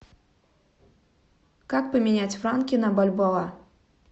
как поменять франки на бальбоа